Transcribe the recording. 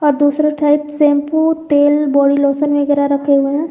और दूसरे side shampoo तेल बॉडी लोशन वगैरा रखे हुए हैं।